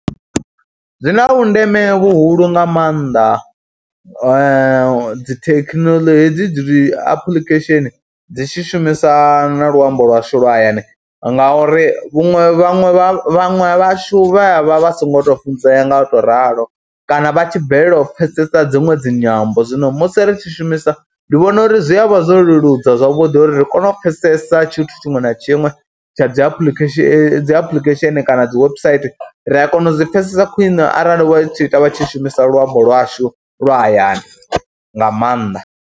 Zwi na vhundeme vhuhulu nga maanḓa dzi thekinolodzhi hedzi dzi apuḽikhesheni dzi tshi shumisa na luambo lwashu lwa hayani ngauri vhuṅwe vhaṅwe vha vhaṅwe vhashu vha vha vha songo tou funzea nga u tou ralo kana vha tshi balelwa u pfhesesa dziṅwe dzi nyambo. Zwino musi ri tshi shumisa ndi vhona uri zwi a vha zwo leludza zwavhuḓi uri ri kone u pfhesesa tshithu tshiṅwe na tshiṅwe tsha dzi apuḽikhesheni dzi apuḽikhesheni kana dzi website ri a kona u zwi pfhesesa khwine arali vha tshi ita vha tshi shumisa luambo lwashu lwa hayani nga maanḓa.